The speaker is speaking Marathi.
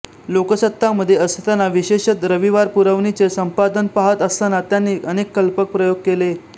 लोकसत्तामध्ये असताना विशेषत रविवार पुरवणीचे संपादन पाहत असताना त्यांनी अनेक कल्पक प्रयोग केले